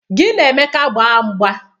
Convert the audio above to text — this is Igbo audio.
Gị na Emeka gbaa mgba!